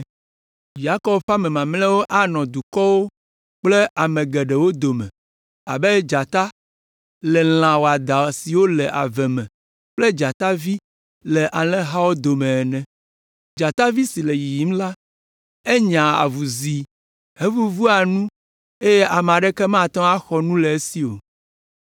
Yakob ƒe ame mamlɛawo anɔ dukɔwo kple ame geɖewo dome abe dzata le lã wɔadã siwo le ave me kple dzatavi le alẽhawo dome ene. Dzatavi si le yiyim la, enyea avuzi hevuvua nu eye ame aɖeke mate ŋu axɔ nu le esi o.